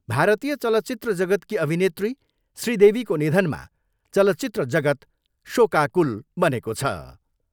भारतीय चलचित्र जगतकी अभिनेत्री श्री देवीको निधनमा चलिचत्र जगत शोकाकूल बनेको छ।